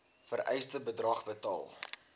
vereiste bedrag betaal